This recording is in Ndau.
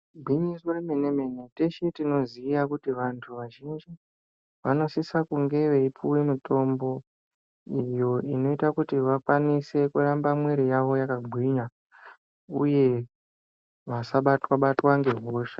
Gwinyiso romene mene teshe tinozova kuti vantu vazhinji vanosise kunge veipiwe mitombo iyo inoita kuti vakwanise kuramba miiri yavo yakagwinya uye vasabatwa batwa ngehosha.